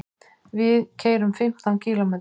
Við keyrum fimmtán kílómetra.